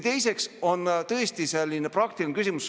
Teiseks on tõesti praktiline küsimus.